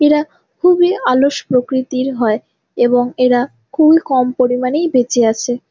এরা খুব এই অলস প্রকৃতির হয় এবং এরা খুব এই কম পরিমানেই বেঁচে আছে।